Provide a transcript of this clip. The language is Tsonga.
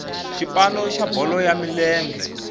xipano xa bolo ya milenge